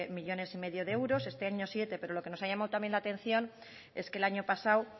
coma cinco millónes de euros este año siete pero lo que nos ha llamado también la atención es que el año pasado